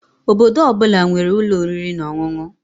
Obodo ọ bụla nwere ụlọ oriri na ọṅụṅụ